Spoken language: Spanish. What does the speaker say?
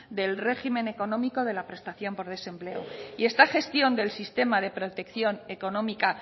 del régimen económico de la prestación por desempleo y esta gestión del sistema de protección económica